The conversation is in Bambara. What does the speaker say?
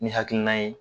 Ni hakilina ye